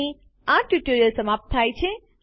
અહીં આ ટ્યુટોરીયલ સમાપ્ત થાય છે